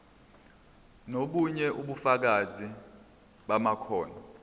nobunye ubufakazi bamakhono